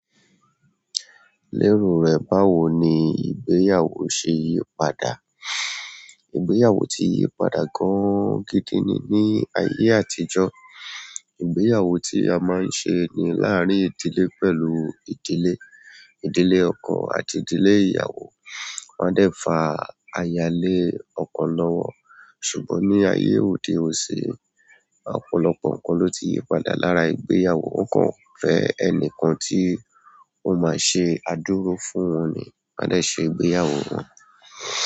Lero rẹ̀ báwo ni ìgbéyàwó ṣe yípadà? Ìgbéyàwó ti yípadà gan gidi ni, ní ayé àtijọ́, ìgbéyàwó tí a máa ń ṣe ni láàrín ìdílé pẹ̀lú ìdílé. Ìdílé ọkọ àti ìdílé ìyàwó wọń a dẹ̀ fa ayálé ọkọ lọ́wọ́. Ṣùgbọ́n ní ayé òde òní, ọ̀pọ̀lọpọ̀ nǹkan ló ti yípadà lára ìgbéyàwó. Wọn kan fẹ́ ẹnìkan tí ó máa ṣe àdúró fún wọ́n ni máa dẹ̀ ṣe ìgbéyàwó wọ́n.